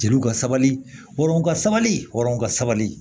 Jeliw ka sabali hɔrɔn ka sabali hɔrɔn ka sabali